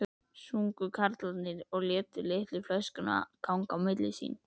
sungu karlarnir og létu litlu flöskuna ganga á milli sín.